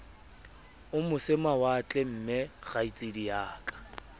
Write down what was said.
o moseho mawatle mmekgaitsedi ya